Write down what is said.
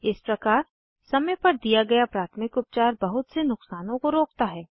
इस प्रकार समय पर दिया गया प्राथमिक उपचार बहुत से नुकसानों को रोकता है